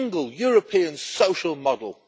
a single European social model.